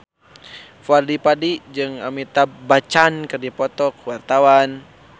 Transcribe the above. Fadly Padi jeung Amitabh Bachchan keur dipoto ku wartawan